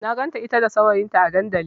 Na ganta ita da saurayinta a dandali.